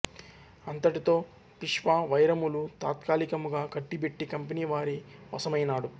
అంతటితో పీష్వా వైరములు తాత్కాలికముగా కట్టిబెట్టి కంపెనీ వారి వశమైనాడు